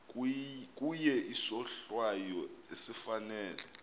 kuye isohlwayo esifanele